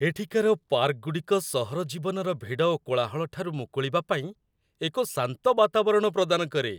ଏଠିକାର ପାର୍କଗୁଡ଼ିକ ସହର ଜୀବନର ଭିଡ଼ ଓ କୋଳାହଳ ଠାରୁ ମୁକୁଳିବା ପାଇଁ ଏକ ଶାନ୍ତ ବାତାବରଣ ପ୍ରଦାନ କରେ।